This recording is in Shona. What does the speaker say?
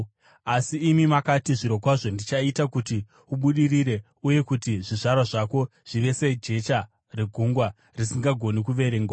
Asi imi makati, ‘Zvirokwazvo ndichaita kuti ubudirire uye kuti zvizvarwa zvako zvive sejecha regungwa, risingagoni kuverengwa.’ ”